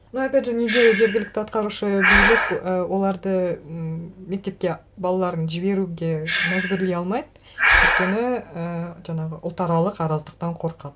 ну опять же неге жергілікті атқарушы билік і оларды ммм мектепке балаларын жіберуге мәжбүрлей алмайды өйткені ііі жаңағы ұлтаралық араздықтан қорқады